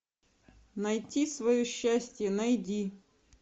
найти свое счастье найди